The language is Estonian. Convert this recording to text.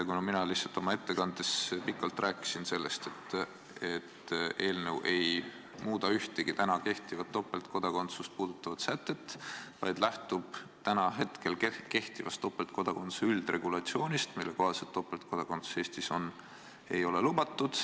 Mina rääkisin oma ettekandes pikalt sellest, et eelnõu ei muuda ühtegi täna kehtivat topeltkodakondsust puudutavat sätet, vaid lähtub hetkel kehtivast topeltkodakondsuse üldregulatsioonist, mille kohaselt topeltkodakondsus Eestis lubatud ei ole.